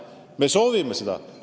Me soovime seda.